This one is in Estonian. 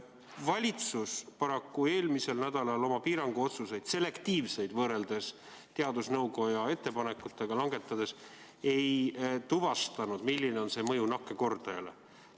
Valitsus paraku eelmisel nädalal oma selektiivseid piiranguotsuseid – võrreldes teadusnõukoja ettepanekutega – langetades ei tuvastanud, milline on nende mõju nakkuskordajale.